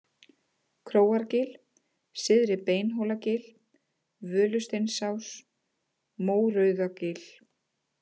Króargil, Syðra-Beinhólagil, Völusteinsás, Mórauðagil